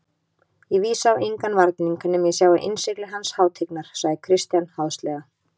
Ég vísa á engan varning nema ég sjái innsigli hans hátignar, sagði Christian háðslega.